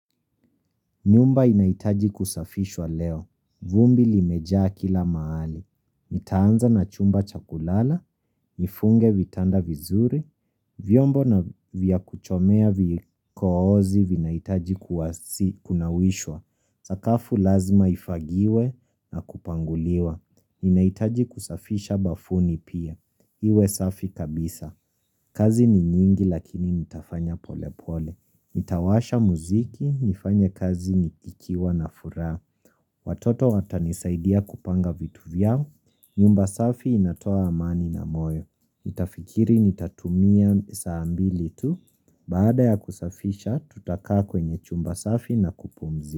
Nyumba inaitaji kusafishwa leo. Vumbi limejaa kila mahali. Nitaanza na chumba cha kulala, nifunge vitanda vizuri, vyombo na vya kuchomea vikoozi vinaitaji kuna wishwa. Sakafu lazima ifagiwe na kupanguliwa. Inaitaji kusafisha bafuni pia. Iwe safi kabisa. Kazi ni nyingi lakini nitafanya pole pole. Nitawasha muziki, nifanye kazi nikiwa na fura Watoto watanisaidia kupanga vitu vyao nyumba safi inatoa amani na moyo Nitafikiri nitatumia saa mbili tu Baada ya kusafisha tutakaa kwenye chumba safi na kupumzi.